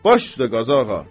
Baş üstə, Qazağa.